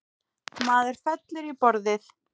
Maður féll á borðið.